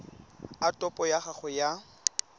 a topo ya gago ya